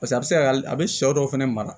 Paseke a bɛ se ka a bɛ sɛw dɔw fɛnɛ mara